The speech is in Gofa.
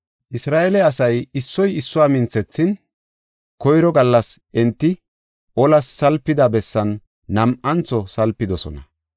Isra7eele asay issoy issuwa minthethin, koyro gallas enti olas salpida bessan nam7antho salpidosona.